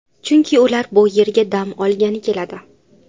Chunki ular bu yerga dam olgani keladi.